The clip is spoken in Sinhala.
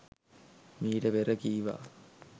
මීට පෙර කීවා